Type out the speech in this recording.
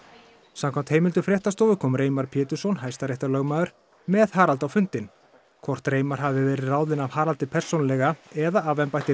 samkvæmt heimildum fréttastofu kom Reimar Pétursson hæstaréttarlögmaður með Haraldi á fundinn hvort Reimar hafi verið ráðinn af Haraldi persónulega eða af embætti